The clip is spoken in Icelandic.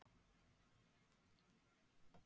Sjálfur var Beinteinn að vísu enginn